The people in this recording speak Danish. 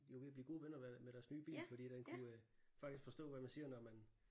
De var ved at blive gode venner med deres nye bil fordi den kunne faktisk forstå hvad man siger når man